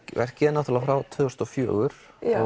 verkið er náttúrulega frá tvö þúsund og fjögur